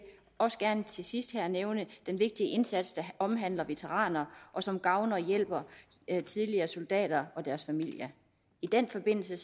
også gerne til sidst her nævne den vigtige indsats der omhandler veteraner og som gavner og hjælper tidligere soldater og deres familier i den forbindelse